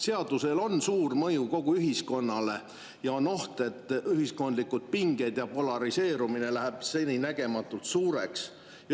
Seadusel on suur mõju kogu ühiskonnale ja on oht, et ühiskondlikud pinged ja polariseerumine lähevad seninägematult suureks.